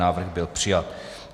Návrh byl přijat.